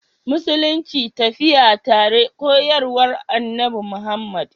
Musulunci tafiya tare koyarwa Annabi Muhammad